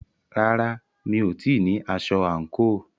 Rárá, mi ò tíì ní aṣọ àǹkóò.